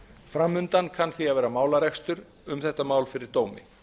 fram undan kann því að vera málarekstur um þetta mál fyrir dómi